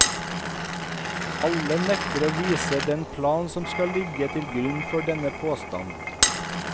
Alle nekter å vise den plan som skal ligge til grunn for denne påstand.